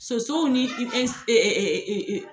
Sosow ni ɛ e e e